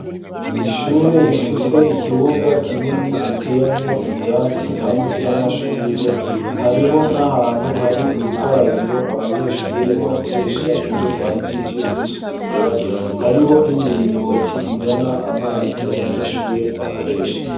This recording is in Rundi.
Ishure, rifise ikibuga, kinini, giteyemwo ivyatsi, hamwe n'amashurwe; hariho n'ahantu, hari urukarabiro; abanyeshure bakoresha, iyo bahejeje kwisukura; hariho n'imiringoti, izana amazi, abanyeshure bakoresha.